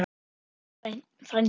Vertu sæll frændi.